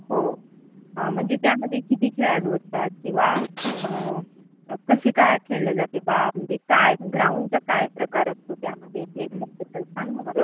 हो म्हणजे त्यामध्ये किती खेळाडू असतात? किंवा कसे काय खेळले जाते बा? म्हणजे ग्राउंडचा काय प्रकार असतो त्यामध्ये? ह्यांच्याबद्दल सांग ना मला.